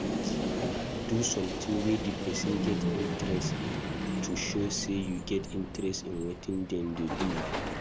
Do something wey di person get interest in to show sey you get interest in wetin dem dey do